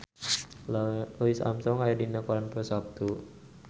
Louis Armstrong aya dina koran poe Saptu